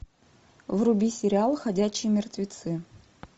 вруби сериал ходячие мертвецы